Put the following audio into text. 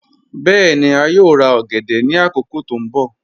Bẹẹ̀ni, a yòò rà ogèdè ni akókò tó nbọ̀.